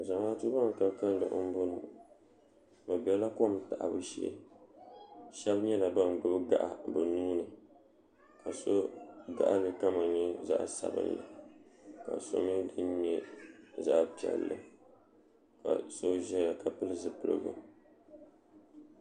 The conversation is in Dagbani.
Zamaatu ban ka kalli m boŋɔ bɛ bela kom taɣabu shee sheba nyɛla ban gbibi gaɣa bɛ nuuni ka so gaɣali kama nyɛ zaɣa sabinli ka mee dini nyɛ zaɣa piɛlli ka so zaya ka pili zipiligu.